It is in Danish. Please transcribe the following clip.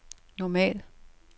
normal